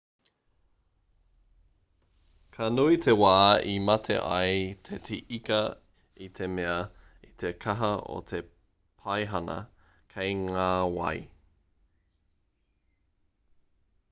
ka nui te wā e mate ai te ika i te mea i te kaha o te paihana kei ngā wai